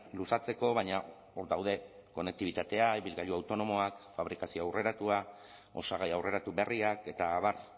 luzatzeko baina hor daude konektibitatea ibilgailu autonomoak fabrikazio aurreratua osagai aurreratu berriak eta abar